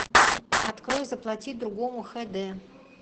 открой заплати другому хд